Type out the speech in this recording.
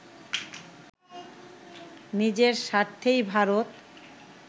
নিজের স্বার্থেই ভারত